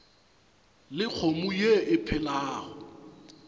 le kgomo ye e phelago